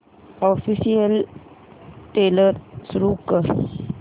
official trailer सुरू कर